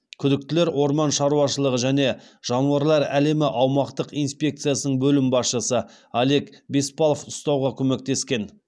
күдіктілер орман шауашылығы және жануарлар әлемі аумақтық инспекциясының бөлім басшысы олег беспалов ұстауға көмектескен